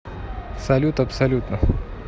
салют абсолютно